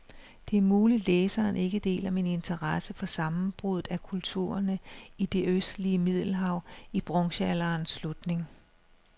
Det er muligt, læseren ikke deler min interesse for sammenbruddet af kulturerne i det østlige middelhav i bronzealderens slutning.